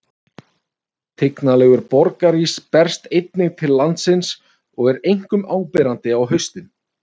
tignarlegur borgarís berst einnig til landsins og er einkum áberandi á haustin